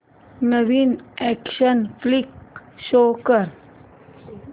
नवीन action flick show कर